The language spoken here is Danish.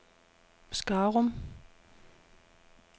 Skarum